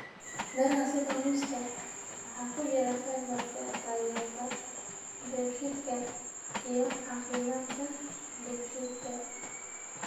Miraha sida muuska waxaa ku jira fiber-ka taageerta dheefshiidka iyo caafimaadka dheefshiidka.